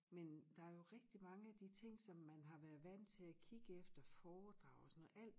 Men der jo rigtig mange af de ting som man har været vant til at kigge efter foredrag og sådan noget alt